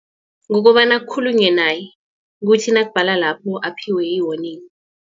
Ngokobana kukhulunywe naye ukuthi nakubhala lapho aphiwe i-warning.